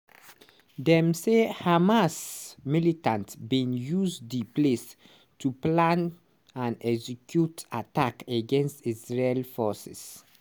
dem say hamas militants bin use di place to plan and execute attacks against israeli forces.